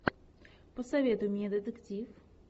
посоветуй мне детектив